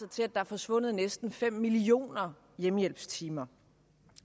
til at der er forsvundet næsten fem millioner hjemmehjælpstimer